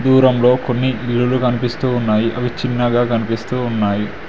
దూరంలో కొన్ని ఇల్లులు కనిపిస్తూ ఉన్నాయి అవి చిన్నగా కనిపిస్తూ ఉన్నాయి.